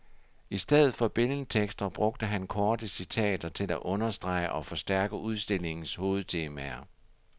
I stedet for billedtekster brugte han korte citater til at understrege og forstærke udstillingens hovedtemaer.